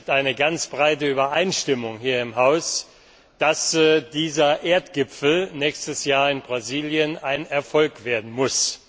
h. es gibt eine ganz breite Übereinstimmung hier im Haus, dass dieser Erdgipfel nächstes Jahr in Brasilien ein Erfolg werden muss.